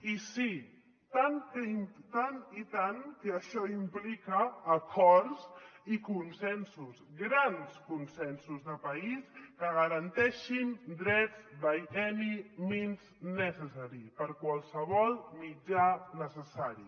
i sí i tant que això implica acords i consensos grans consensos de país que garanteixin drets by any means necessary per qualsevol mitjà necessari